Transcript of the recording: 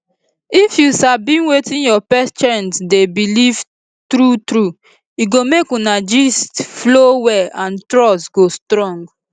if you sabi wetin your patient dey believe true true e go make una gist flow well and trust go strong